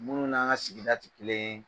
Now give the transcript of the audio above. Munnu n'an ka sigida ti kelen ye.